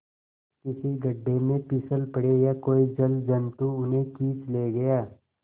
किसी गढ़े में फिसल पड़े या कोई जलजंतु उन्हें खींच ले गया